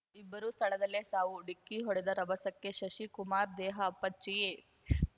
ಇಬ್ಬರೂ ಸ್ಥಳದಲ್ಲೇ ಸಾವು ಡಿಕ್ಕಿ ಹೊಡೆದ ರಭಸಕ್ಕೆ ಶಶಿ ಕುಮಾರ್‌ ದೇಹ ಅಪ್ಚಚ್ಚಿ